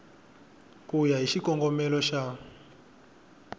ku ya hi xikongomelo xa